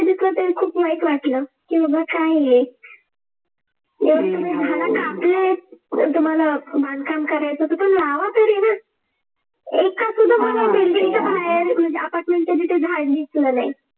खूप वाईट वाटलं की बाबा काय हे एवढे तुम्ही झाड कापलेत तुम्हाला बांधकाम करायचं होतं पण लावा तरी ना म्हणजे apartment तिथे झाड दिसलं नाही.